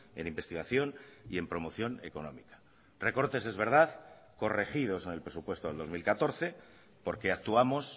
en investigación y en promoción económica recortes es verdad corregidos en el presupuesto del dos mil catorce porque actuamos